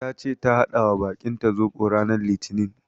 Tace ta haɗawa bakinta zoɓo ranar litinin.